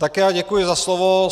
Také já děkuji za slovo.